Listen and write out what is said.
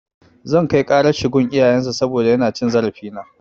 Zan kai ƙarar shi gun iyayen shi saboda yana cin zarafina.